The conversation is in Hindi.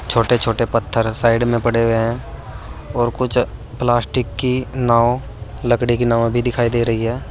छोटे छोटे पत्थर साइड में पड़ें हुए हैं और कुछ प्लास्टिक की नाव लकड़ी की नाव भी दिखाई दे रही है।